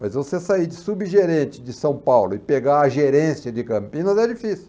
Mas você sair de subgerente de São Paulo e pegar a gerência de Campinas é difícil.